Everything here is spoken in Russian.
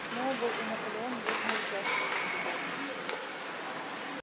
сноуболл и наполеон бурно участвовали в дебатах